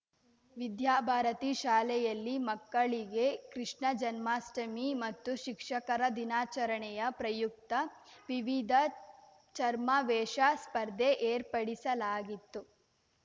ವಿದ್ಯಾಭಾರತಿ ಶಾಲೆಯಲ್ಲಿ ಮಕ್ಕಳಿಗೆ ಕೃಷ್ಣ ಜನ್ಮಾಷ್ಟಮಿ ಮತ್ತು ಶಿಕ್ಷಕರ ದಿನಾಚರಣೆಯ ಪ್ರಯುಕ್ತ ವಿವಿಧ ಛರ್ಮವೇಷ ಸ್ಪರ್ಧೆ ಏರ್ಪಡಿಸಲಾಗಿತ್ತು